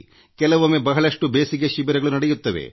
ಕೆಲವೊಮ್ಮೆ ಬಹಳಷ್ಟು ಬೇಸಿಗೆ ಶಿಬಿರಗಳು ನಡೆಯುತ್ತವೆ